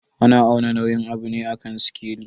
Ana auna nauyin abu ne a kan sikeli.